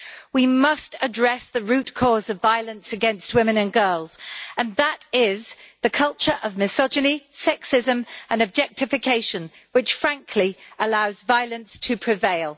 We must address the root cause of violence against women and girls and that is the culture of misogyny, sexism and objectification which, frankly, allows violence to prevail.